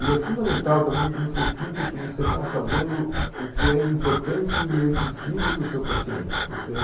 E é fundamental também que você sinta que você está fazendo o que é importante e é preciso para o seu paciente, que você